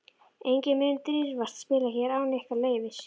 Enginn mun dirfast að spila hér án ykkar leyfis.